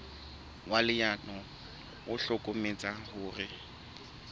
wa leano o hlokometse hore